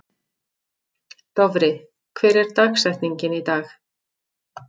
Dofri, hver er dagsetningin í dag?